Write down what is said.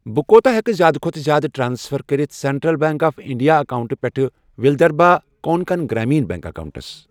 بہٕ کوٗتاہ ہٮ۪کہٕ زِیٛادٕ کھوتہٕ زِیٛادٕ ٹرانسفر کٔرِتھ سیٚنٛٹرٛل بیٚنٛک آف اِنٛڈیا اکاونٹہٕ پٮ۪ٹھٕ وِلدھربھا کونکَن گرٛامیٖن بیٚنٛک اکاونٹَس۔